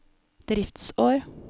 driftsår